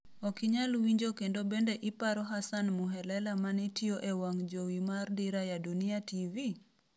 Okinyal winjo kendo Bende iparo Hassan Muhelela manetiyo ee wang jowi mar Dira ya Dunia TV?